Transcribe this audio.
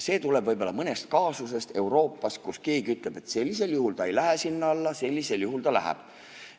See tuleb võib-olla mõnest kaasusest Euroopas, kus keegi ütleb, et sellisel juhul ta ei lähe sinna alla, sellisel juhul ta läheb.